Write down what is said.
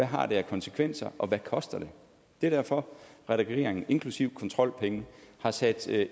har af konsekvenser og hvad det koster det er derfor regeringen inklusive kontrolpenge har sat